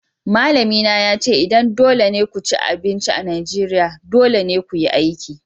Malamina ya ce idan dole ne ku ci abinci a Najeriya, dole ne ku yi aiki.